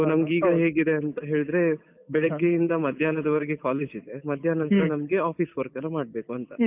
ನಮ್ಗ್ ಈಗ ಹೆಂಗಿದೆ ಅಂತ ಹೇಳಿದ್ರೆಬೆಳಿಗ್ಗೆ ಇಂದ ಮಧ್ಯಾಹ್ನದ ವರೆಗೆ college ಇರ್ತದೆ ಮಧ್ಯಾಹ್ನದ ನಂತರ office work ನ ಮಾಡ್ಬೇಕು ಅಂತ.